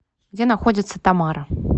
где находится тамара